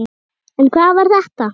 En hvað var þetta?